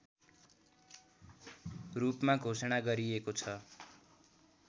रूपमा घोषणा गरिएको छ